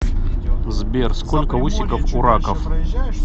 сбер сколько усиков у раков